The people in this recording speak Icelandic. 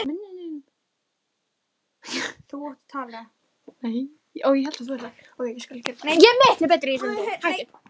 Nei, oftast með nokkrum félögum mínum.